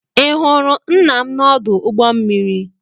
ị hụrụ nna m n'ọdụ ụgbọ mmiri?